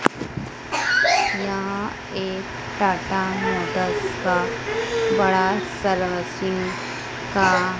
यहां एक टाटा मोटर्स का बड़ा सरवसिंग का--